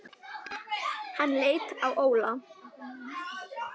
Hann leit á Óla.